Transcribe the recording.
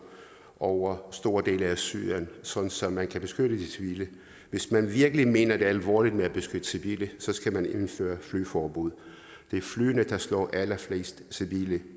over store dele af syrien så så man kan beskytte de civile hvis man virkelig mener det alvorligt med at beskytte civile skal man indføre flyveforbud det er flyene der slår allerflest civile